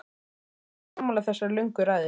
Ertu ekki sammála þessari löngu ræðu?